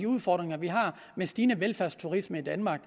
udfordringer vi har med stigende velfærdsturisme i danmark